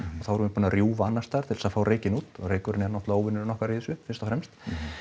erum við búnir að rjúfa annars staðar til þess að fá reykinn út og reykurinn er náttúrulega óvinurinn okkar í þessu fyrst og fremst